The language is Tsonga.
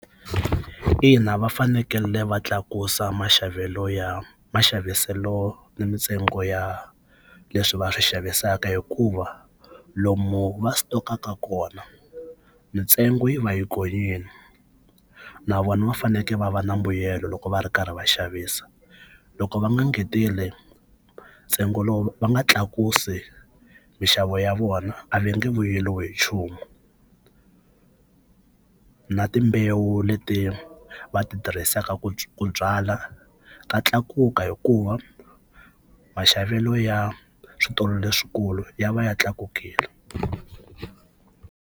Ina va fanekele va tlakusa maxavelo ya maxaviselo ni mintsengo ya leswi va swi xavisaka hikuva lomu va sitokaku kona mintsengo yi va yi gonyile na vona va fanekele va va na mbuyelo loko va ri karhi va xavisa loko va nga engeteli ntsengo lowu va nga tlakusi mixavo ya vona a va nge vuyeriwi hi nchumu na timbewu leti va ti tirhisaka ku byala ta tlakuka hikuva maxavelo ya switolo leswikulu ya va ya tlakukile.